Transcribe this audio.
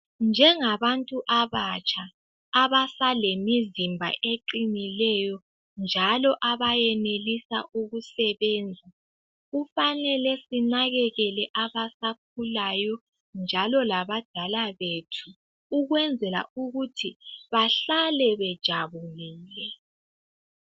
Njengabantu abatsha, abasalemizimba eqinileyo, njalo abayenelisa ukusebenza. Kufanele sinakekele abasakhulayo, njalo labadala bethu. Ukwenzela ukuthi bahlale bejabulile.